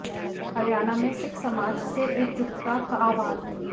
हरियाणा में सिख समाज से एकजुटता का आह्वान